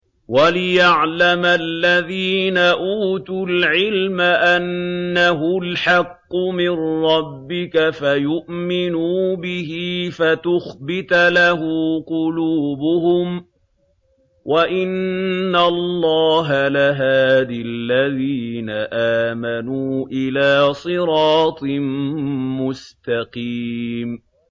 وَلِيَعْلَمَ الَّذِينَ أُوتُوا الْعِلْمَ أَنَّهُ الْحَقُّ مِن رَّبِّكَ فَيُؤْمِنُوا بِهِ فَتُخْبِتَ لَهُ قُلُوبُهُمْ ۗ وَإِنَّ اللَّهَ لَهَادِ الَّذِينَ آمَنُوا إِلَىٰ صِرَاطٍ مُّسْتَقِيمٍ